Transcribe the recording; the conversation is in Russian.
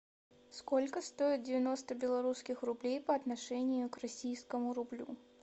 сколько стоит девяносто белорусских рублей по отношению к российскому рублю